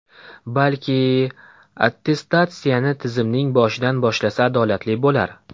Balki, attestatsiyani tizimning boshidan boshlasa adolatli bo‘lar.